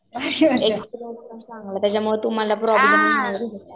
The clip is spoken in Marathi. चांगला त्याच्यामुळं तुम्हाला प्रॉब्लम